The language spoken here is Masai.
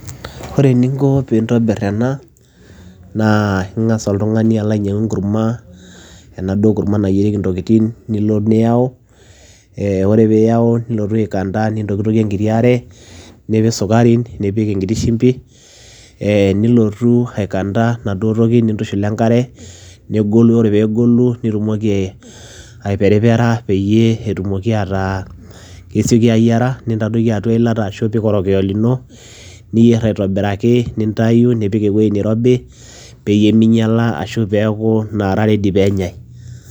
Ore eninko piintobir ena naa ing'asa oltung'ani alo ainyang'u enkurma enaduo kurma nayierieki intokitin, nilo niyau ee ore piiyau nilotu aikanda, nintokitokie enkiti are, nipik sukari, nipik enkiti shimbi ee nilotu aikanda enaduo toki nintushul we enkare negolu, ore peegolu nitumoki aiperipera peyie etumoki ataa kesioki ayiara intadoiki atua eilata ashu ipik orokiyo lino, niyer aitobiraki nintayu nipik ewuei nirobi peyie minyala ashu peeku naara ready peenyai.